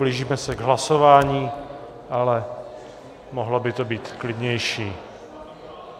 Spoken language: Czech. Blížíme se k hlasování, ale mohlo by to být klidnější.